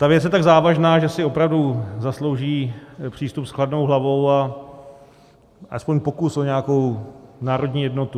Ta věc je tak závažná, že si opravdu zaslouží přístup s chladnou hlavou a alespoň pokus o nějakou národní jednotu.